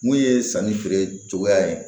Mun ye sanni feere cogoya ye